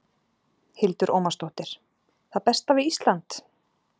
Hildur Ómarsdóttir: Það besta við Ísland?